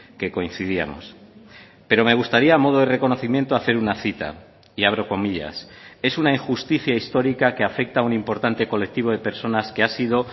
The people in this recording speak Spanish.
que coincidíamos pero me gustaría a modo de reconocimiento hacer una cita y abro comillas es una injusticia histórica que afecta a un importante colectivo de personas que ha sido